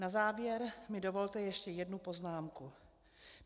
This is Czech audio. Na závěr mi dovolte ještě jednu poznámku.